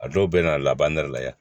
A dɔw bɛ na a laban nɛrɛ la yan